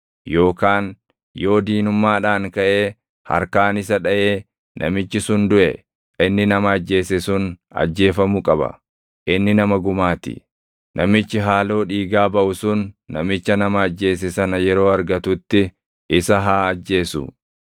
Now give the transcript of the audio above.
yookaan yoo diinummaadhaan kaʼee harkaan isa dhaʼee namichi sun duʼe, inni nama ajjeese sun ajjeefamuu qaba; inni nama gumaa ti. Namichi haaloo dhiigaa baʼu sun namicha nama ajjeese sana yeroo argatutti isa haa ajjeesu.